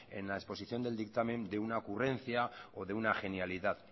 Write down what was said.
en la exposición del dictamen de una ocurrencia o de una genialidad